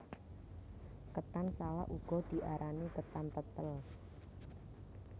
Ketan salak uga diarani ketan tetel